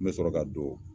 N bɛ sɔrɔ ka don